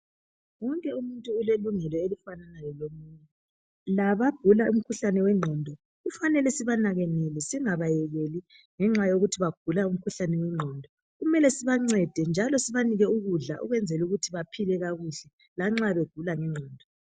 Wonke umuntu ulelungelo elifanana lelomunye. Labagula umkhuhlane wengqondo kufanele sibanakekele singabayekèli ngenxa yokuthi bayagula. Kumele sibancede njalo sibanike ukudla ukwenzela ukuthi baphile kakuhle lanxa begula.